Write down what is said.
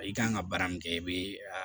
I kan ka baara min kɛ i be a